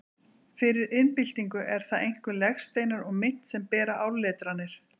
Fyrir iðnbyltingu eru það einkum legsteinar og mynt sem bera áletranir.